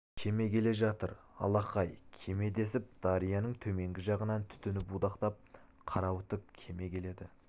кеме келе жатыр алақай кеме десіп дарияның төменгі жағынан түтіні будақтап қарауытып кеме келеді